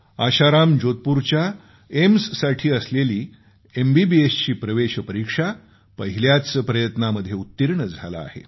आशाराम जोधपूरच्या एम्ससाठी असलेली एमबीबीएसची प्रवेश परीक्षा पहिल्याच प्रयत्नामध्ये उत्तीर्ण झाला आहे